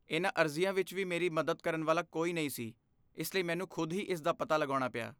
ਇਹਨਾਂ ਅਰਜ਼ੀਆਂ ਵਿੱਚ ਵੀ ਮੇਰੀ ਮੱਦਦ ਕਰਨ ਵਾਲਾ ਕੋਈ ਨਹੀਂ ਸੀ, ਇਸ ਲਈ ਮੈਨੂੰ ਖੁਦ ਹੀ ਇਸਦਾ ਪਤਾ ਲਗਾਉਣਾ ਪਿਆ।